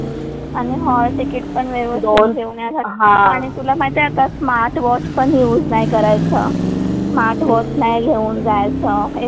आणि hall ticket पण व्यवस्थित घेऊन येण्यासाठी आणि तुला माहिती आहे आता स्मार्ट वॉच पण युज नाही करायचं. स्मार्ट वॉच नाही घेऊन जायचं